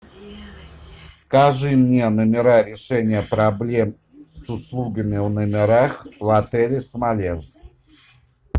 скажи мне номера решения проблем с услугами в номерах в отеле смоленск